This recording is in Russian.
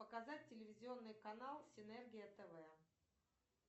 показать телевизионный канал синергия тв